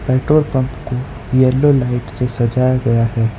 Petrol pump को yellow light से सजाया गया है।